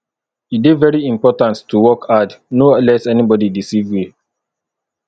e dey very important to work hard no let anybodi deceive you